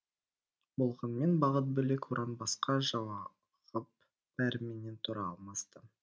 болғанмен бағыт бөлек ұран басқа жауығып бәріменен тұра алмас та